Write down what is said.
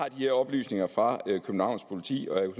her oplysninger fra københavns politi og jeg